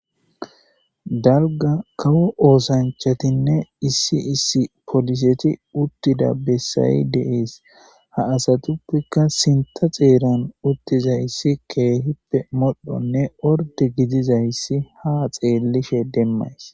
Dalga kawu oosanchatinne issi issi poliseti uttida bessayi deees ha asatuppikka sinta xeeran uttiza issi keehippe modhonne orde gidizayssi ha xeellishe demmays